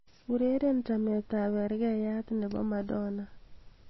ureren chamet ab bergeyat nebo madonna